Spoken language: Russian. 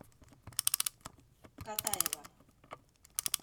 катаева